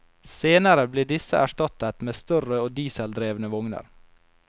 Senere ble disse erstattet med større og dieseldrevne vogner.